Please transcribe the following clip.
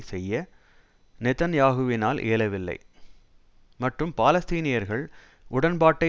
செய்ய நெதன்யாகுவினால் இயலவில்லை மற்றும் பாலஸ்தீனியர்கள் உடன்பாட்டை